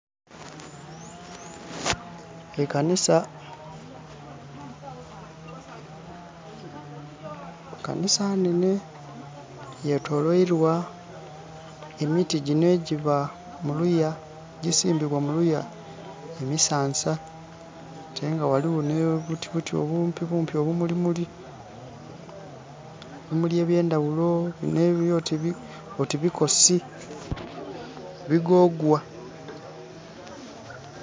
Ekanisa. Ekanisa nnenhe yetoloirwa emiti gino egiba muluya, egisimbibwa muluya, emisansa ate nga waliwo nobuti obumpibumpi, obumuli muli, ebimuli ebyendawulo nebiri oti bikosi, bigogwa